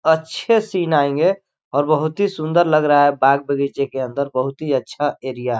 अच्छे सीन आएंगे और बहुत ही सुन्दर लग रहा है बाग बगीचे के अन्दर बहुत ही अच्छा एरिया --